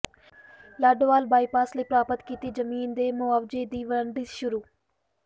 Ladowal bypass ਲਈ ਪ੍ਰਾਪਤ ਕੀਤੀ ਜ਼ਮੀਨ ਦੇ ਮੁਆਵਜ਼ੇ ਦੀ ਵੰਡ ਸ਼ੁਰੂ